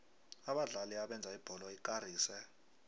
abadlali abenza ibholo ikarise